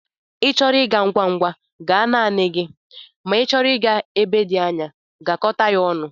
Ị chọrọ ịga ngwa ngwa, gaa naanị gị ma n'ichọrọ ịga ebe dị anya, gakọta ya ọnụ.